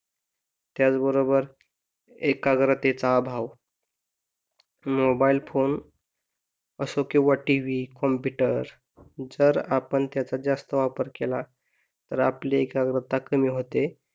त्याच बरोबर एकाग्रतेचा अभाव मोबाईल फोन असो किंवा TV कॉम्पुटर जर आपण त्याचा जास्त वापर केला तर आपली एकाग्रता कमी होते